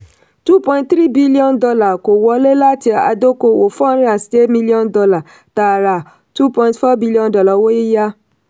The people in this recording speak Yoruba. two point three billion dollar kó wọlé láti adókòwò four hundred and million dollar tààrà two point four billion dollar owó yíyá.